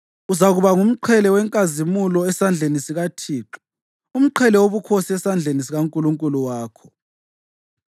Uzakuba ngumqhele wenkazimulo esandleni sikaThixo, umqhele wobukhosi esandleni sikaNkulunkulu wakho.